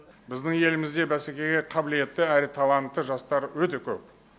біздің елімізде бәсекеге қабілетті әрі талантты жастар өте көп